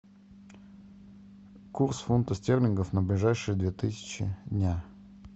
курс фунта стерлингов на ближайшие две тысячи дня